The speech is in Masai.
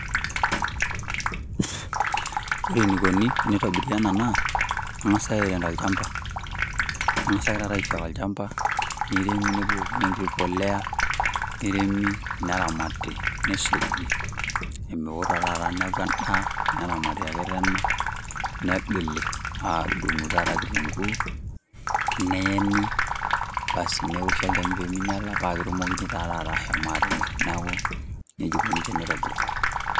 Ore enaikoni teneitobiri ena naa kengasi airrm tolchamba. Kengasi ake taata aifiaka olchamba neiremi nebukoni enkiti polea, neiremi neramati neisuji. Omewo taa ake taata neaku enda neramati ake tena. Negili aaun duo taata kitunguu, neeni basi newosho olchani pee minyiala, paa ketumokini taa taata aashom aatimir. Neaku nejia eikoni teneitobiri.